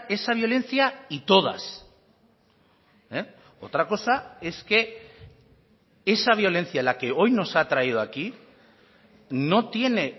esa violencia y todas otra cosa es que esa violencia la que hoy nos ha traído aquí no tiene